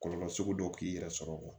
Kɔlɔlɔ sugu dɔw k'i yɛrɛ sɔrɔ